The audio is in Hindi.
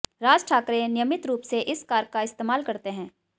राज ठाकरे नियमित रूप से इस कार का इस्तेमाल करते हैं